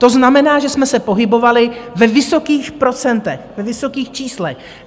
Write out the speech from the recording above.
To znamená, že jsme se pohybovali ve vysokých procentech, ve vysokých číslech.